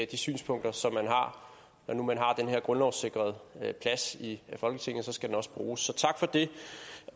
de synspunkter som man har når nu man har den her grundlovssikrede plads i folketinget skal den også bruges så tak for det